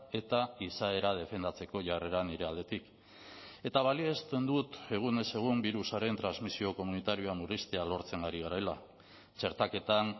eta izaera defendatzeko jarrera nire aldetik eta balioesten dut egunez egun birusaren transmisio komunitarioa murriztea lortzen ari garela txertaketan